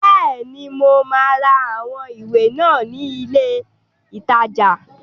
Bẹ́ẹ̀ni, mo máa ra àwọn ìwé náà ní ilé ìtajà.